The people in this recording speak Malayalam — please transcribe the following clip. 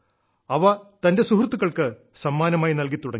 അവ തന്റെ സുഹൃത്തുക്കൾക്ക് സമ്മാനമായി നൽകിത്തുടങ്ങി